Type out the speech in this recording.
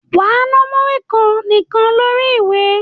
Wà á na múrí kan nìkan lórí ìwé!